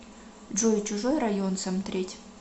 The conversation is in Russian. джой чужой район сомтреть